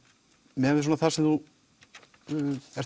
miðað við það sem þú ert